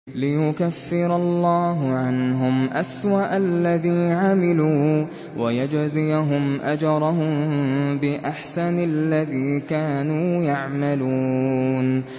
لِيُكَفِّرَ اللَّهُ عَنْهُمْ أَسْوَأَ الَّذِي عَمِلُوا وَيَجْزِيَهُمْ أَجْرَهُم بِأَحْسَنِ الَّذِي كَانُوا يَعْمَلُونَ